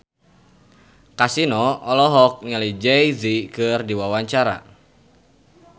Kasino olohok ningali Jay Z keur diwawancara